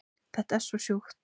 Þetta er svo sjúkt